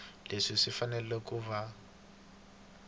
leswi swi fanele ku va